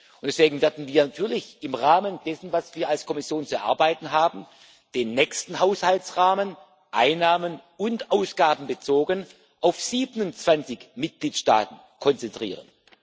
Und deswegen werden wir natürlich im Rahmen dessen, was wir als Kommission zu erarbeiten haben, den nächsten Haushaltsrahmen einnahmen und ausgabenbezogen auf 27 Mitgliedstaaten konzentrieren.